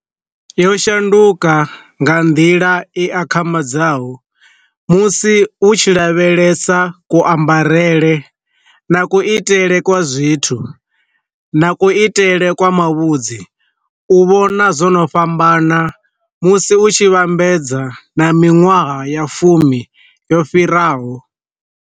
Yo shanduka nga nḓila i akhamadzaho, musi u tshi lavhelesa ku ambarele na ku itele kwa zwithu, na ku itele kwa mavhudzi, u vhona zwo no fhambana musi u tshi vhambedza na minwaha ya fumi yo fhiraho.